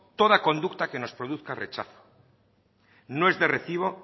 toda conducta que nos produzca rechazo no es de recibo